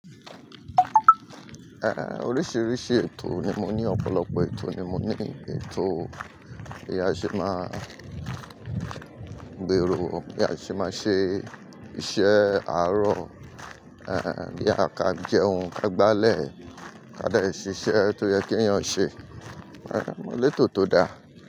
Eh, oríṣiríṣi ètò ni mo ní, ọ̀pọ̀lọpọ̀ ètò ni mo ní. Ètò bí a ṣe máa gbèrò, bí a ṣe máa ṣe iṣẹ́ àárọ̀, eh, bí a ka jẹun, ka gba ilẹ̀, ká dé ṣiṣẹ́, tó yẹ́ keyàn ṣe. Eh, mo lè tò tó dá.